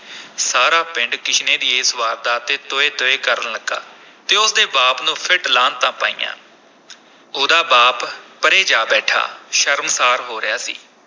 ਸਾਰਾ ਪਿੰਡ ਕਿਸ਼ਨੇ ਦੀ ਇਸ ਵਾਰਦਾਤ ’ਤੇ ਤੋਏ-ਤੋਏ ਕਰਨ ਲੱਗਾ ਤੇ ਉਸ ਦੇ ਬਾਪ ਨੂੰ ਫਿਟ-ਲਾਹਨਤਾਂ ਪਾਈਆ ਉਹਦਾ ਬਾਪ ਪਰ੍ਹੇ ਜਾ ਬੈਠਾ ਸ਼ਰਮਸ਼ਾਰ ਹੋ ਰਿਹਾ ਸੀ।